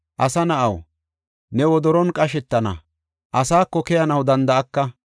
Asa na7aw, ne wodoron qashetana; asako keyanaw danda7aka.